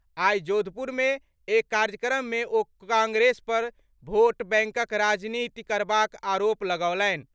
आइ जोधपुर में एक कार्यक्रम मे ओ कांग्रेस पर भोट बैंकक राजनीति करबाक आरोप लगौलनि।